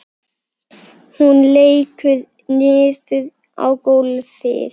Hún lekur niður á gólfið.